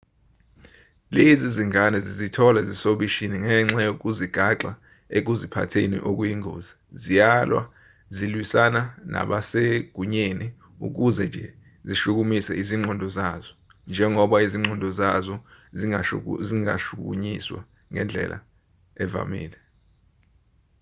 lezi zingane zizithola zisobishini ngenxa yokuzigaxa ekuziphatheni okuyingozi ziyalwa zilwisana nabasegunyeni ukuze nje zishukumise izingqondo zazo njengoba izingqondo zazo zingashukunyiswa ngezindlela ezivamile